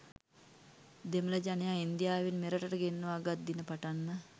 දෙමළ ජනයා ඉන්දියාවෙන් මෙරටට ගෙන්වාගත් දින පටන්ම